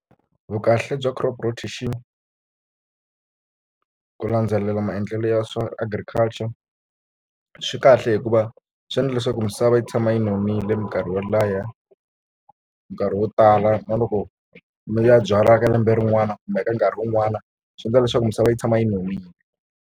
Vukahle bya crop rotation ku landzelela maendlelo ya swa Agriculture swi kahle hikuva swi endla leswaku misava yi tshama yi nonile mikarhi yo nkarhi wo tala na loko mi ya byala ka lembe rin'wana kumbe eka nkarhi wun'wana swi endla leswaku misava yi tshama yi nonile.